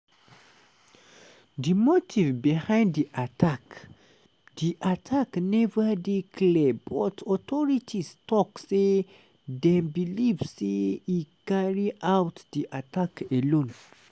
di motive behind di attack di attack neva dey clear but authorities tok say dem believe say e carry out di attack alone.